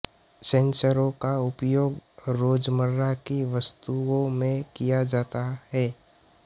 सेंसरों का उपयोग रोजमर्रा की वस्तुओं में किया जाता है